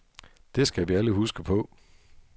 Det skal vi alle huske på.